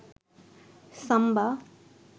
সাম্বা